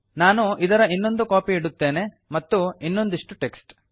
ನಾನು ಇದರ ಇನ್ನೊಂದು ಕಾಪಿ ಇಡುತ್ತೇನೆ ಮತ್ತು ಇನ್ನೊಂದಿಷ್ಟು ಟೆಕ್ಸ್ಟ್